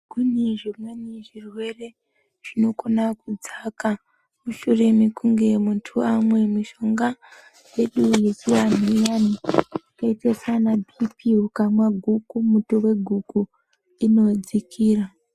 Kune zvimweni zvirwere zvinokona kudzaka mushure mekunge muntu amwa mishonga yedu yechivanhu iyana yakaita saanaBp ukamwa guku muto weguku inodzakira